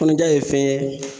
Kɔnɔja ye fɛn ye